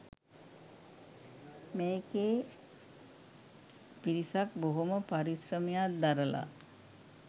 මේකේ පිරිසක් බොහොම පරිශ්‍රමයක් දරලා